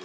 kehas.